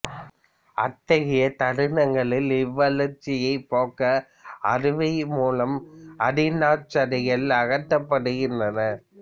அத்தகைய தருணங்களில் இவ்வழற்சியைப் போக்க அறுவை மூலம் அடி நாச்சதைகள் அகற்றப்படுகின்றன